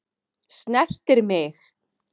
Snertir mig.